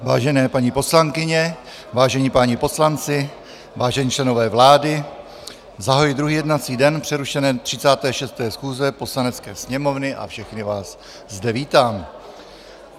Vážené paní poslankyně, vážení páni poslanci, vážení členové vlády, zahajuji druhý jednací den přerušené 36. schůze Poslanecké sněmovny a všechny vás zde vítám.